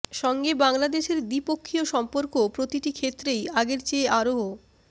সঙ্গে বাংলাদেশের দ্বিপক্ষীয় সম্পর্ক প্রতিটি ক্ষেত্রেই আগের চেয়ে আরও